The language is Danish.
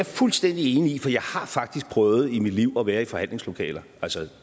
fuldstændig enig i for jeg har faktisk prøvet i mit liv at være i forhandlingslokaler altså